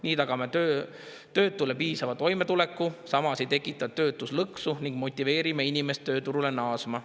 Nii tagame töötule piisava toimetuleku, ei tekita töötuslõksu ning motiveerime inimest tööturule naasma.